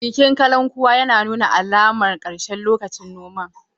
Bikin kallon kuwa yana nuna alamar ƙarshen lokacin noman.